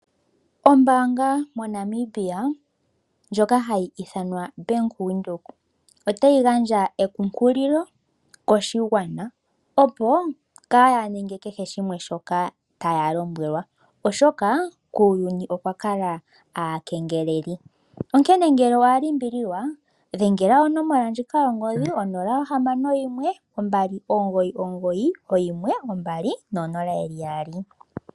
Ombaanga moNamibia ndjoka hayi ithanwa Bank Windhoek otayi gandja ekunkililo koshigwana opo kaaya ninge kehe shimwe shoka taya lombwelwa, oshoka kuuyuni okwa kala aakengeleli. Onkene ngele owa limbililwa, dhengela onomola ndjika yongodhi 0612991200.